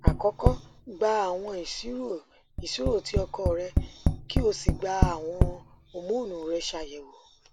akọkọ gba awọn iṣiro iṣiro ti ọkọ rẹ ki o si gba awọn homonu rẹ ṣayẹwo